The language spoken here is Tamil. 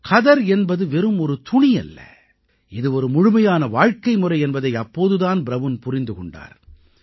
கதர் என்பது வெறும் ஒரு துணியல்ல இது ஒரு முழுமையான வாழ்க்கைமுறை என்பதை அப்போது தான் ப்ரவுன் புரிந்து கொண்டார்